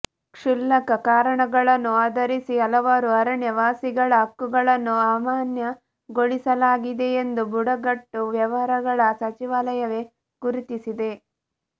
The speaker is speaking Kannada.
ಕ್ಷುಲ್ಲಕ ಕಾರಣಗಳನ್ನು ಆಧರಿಸಿ ಹಲವಾರು ಅರಣ್ಯವಾಸಿಗಳ ಹಕ್ಕುಗಳನ್ನು ಅಮಾನ್ಯಗೊಳಿಸಲಾಗಿದೆಯೆಂದು ಬುಡಕಟ್ಟು ವ್ಯವಹಾರಗಳ ಸಚಿವಾಲಯವೇ ಗುರುತಿಸಿದೆ